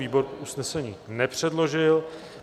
Výbor usnesení nepředložil.